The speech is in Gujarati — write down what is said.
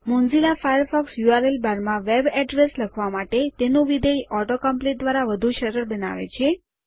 મોઝીલા ફાયરફોક્સ યુઆરએલ બાર માં વેબ અડ્રેસ લખવા માટે તેનું વિધેય ઓટો complete દ્વારા વધુ સરળ બનાવે છે